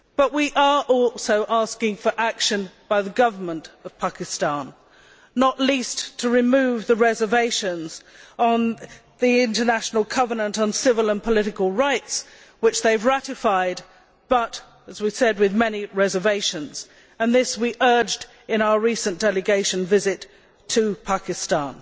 We are also asking for action by the government of Pakistan, not least to remove the reservations on the International Covenant on Civil and Political Rights which they ratified with a large number of reservations and we urged this in our recent delegation visit to Pakistan.